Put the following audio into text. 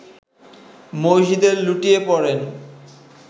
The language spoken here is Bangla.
মসজিদে লুটিয়ে পড়েন